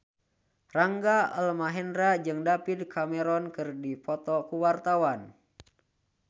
Rangga Almahendra jeung David Cameron keur dipoto ku wartawan